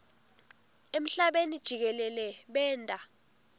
emhlabeni jikelele benta